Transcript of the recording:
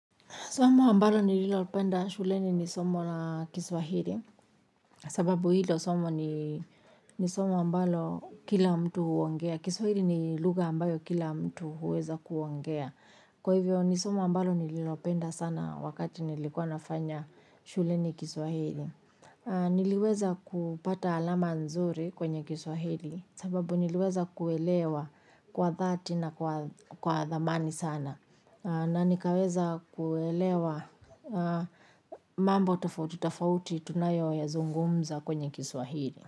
Somo ambalo nililopenda shuleni ni somo na Kiswahili. Sababu hilo somo ni somo ambalo kila mtu huongea. Kiswahiri ni luga ambayo kila mtu huweza kuongea. Kwa hivyo ni somo ambalo nililopenda sana wakati nilikuwa nafanya shuleni Kiswahili. Niliweza kupata alama nzuri kwenye Kiswahili. Sababu niliweza kuelewa kwa dhati na kwa dhamani sana. Na nikaweza kuelewa mambo tofauti tafauti tunayo ya zungumza kwenye kiswahiri.